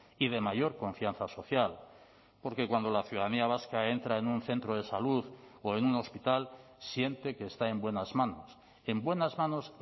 y de mayor confianza social porque cuando la ciudadanía vasca entra en un centro de salud o en un hospital siente que está en buenas manos en buenas manos